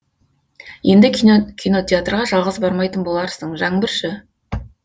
енді кинотеатрға жалғыз бармайтын боларсың жаңбыр шы